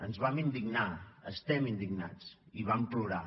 ens vam indignar estem indignats i vam plorar